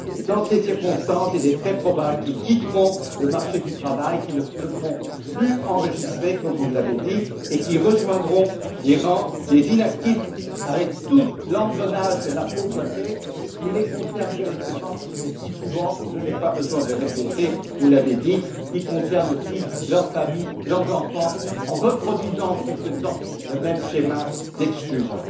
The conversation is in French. Et dans ces circonstances, il est très probable qu'ils quitteront le marché du travail, qu'ils ne se feront plus enregistrés, comme vous l'avez dit, et qu'ils rejoindront les rangs des inactifs, avec tout l'engrenage de la pauvreté que cela implique, et qui les concerne directement, mais qui, souvent je n'ai pas besoin de le répéter, vous l'avez dit concerne aussi leurs familles, leurs enfants, en reproduisant en quelque sorte le même schéma d'exclusion.